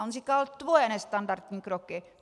A on říkal: Tvoje nestandardní kroky.